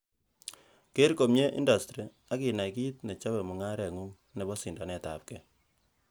Geer komie indastri, ak inai kit nechobe mungarengung nemo sindanetabge.